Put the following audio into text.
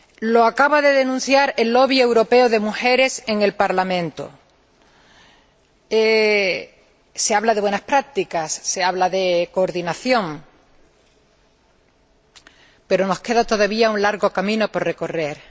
Lo acaba de denunciar el europeo de mujeres en el Parlamento se habla de buenas prácticas, se habla de coordinación, pero nos queda todavía un largo camino por recorrer.